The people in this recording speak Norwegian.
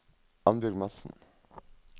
Annbjørg Madsen